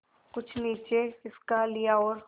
कुछ नीचे खिसका लिया और